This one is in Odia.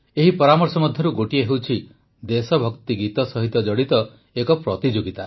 ଏହି ପରାମର୍ଶ ମଧ୍ୟରୁ ଗୋଟିଏ ହେଉଛି ଦେଶଭକ୍ତି ଗୀତ ସହିତ ଜଡ଼ିତ ଏକ ପ୍ରତିଯୋଗିତା